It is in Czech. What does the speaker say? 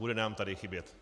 Bude nám tady chybět.